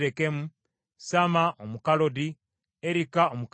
Samma Omukalodi, Erika Omukalodi,